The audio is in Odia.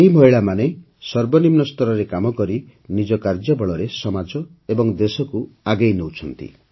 ଏହି ମହିଳାମାନେ ସର୍ବନିମ୍ନ ସ୍ତରରେ କାମ କରି ନିଜ କାର୍ଯ୍ୟ ବଳରେ ସମାଜ ଏବଂ ଦେଶକୁ ଆଗେଇ ନେଉଛନ୍ତି